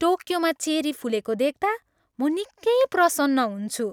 टोकियोमा cherry फुलेको देख्ता म निकै प्रसन्न हुन्छु।